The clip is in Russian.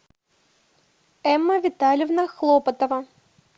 эмма витальевна хлопотова